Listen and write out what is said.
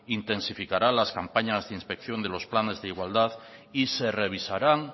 intensificará las campañas de inspección de los planes de igualdad y se revisarán